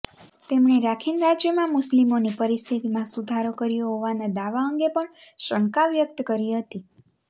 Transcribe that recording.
તેમણે રાખીન રાજ્યમાં મુસ્લિમોની પરિસ્થિતિમાં સુધારો કર્યો હોવાના દાવા અંગે પણ શંકા વ્યક્ત કરી હતી